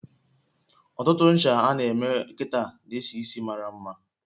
Ọtụtụ ncha a na eme kita n'esisi maramma